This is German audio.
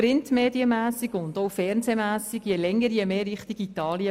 Printmedien- wie auch fernsehmässig begeben wir uns je länger, je mehr Richtung Italien.